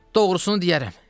Doğrusunu deyərəm.